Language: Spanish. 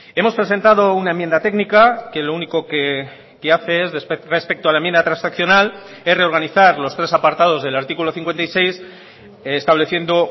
hemos presentado una enmienda técnica que lo único que hace es respecto a la enmienda transaccional es reorganizar los tres apartados del artículo cincuenta y seis estableciendo